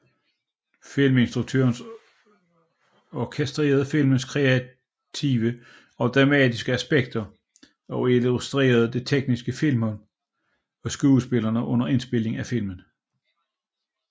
Filminstruktøren orkestrerer filmens kreative og dramatiske aspekter og instruerer det tekniske filmhold og skuespillerne under indspilningen af filmen